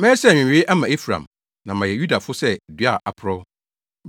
Mɛyɛ sɛ nwewee ama Efraim na mayɛ Yudafo sɛ dua a aporɔw.